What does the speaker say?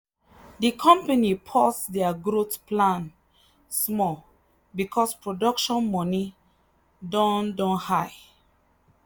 the company pause their growth plan small because production money don don high.